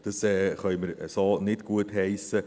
Das können wir so nicht gutheissen.